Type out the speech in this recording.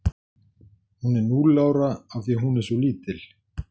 Hún er núll ára af því að hún er svo lítil.